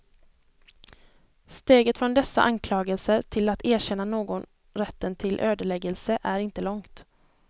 Steget från dessa anklagelser till att erkänna någon rätten till ödeläggelse är inte långt.